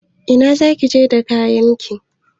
Ina zaki je da kayanki?